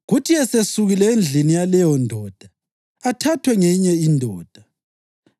kuthi esesukile endlini yaleyondoda athathwe ngeyinye indoda,